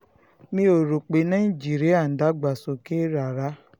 mi ò rò pé nàìjíríà ń dàgbàsókè rárá